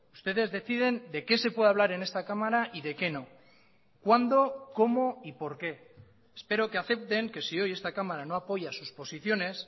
ustedes deciden de qué se puede hablar en esta cámara y de qué no cuándo cómo y por qué espero que acepten que si hoy esta cámara no apoya a sus posiciones